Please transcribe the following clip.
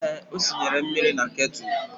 Ee, o sinyere mmiri na ketụlụ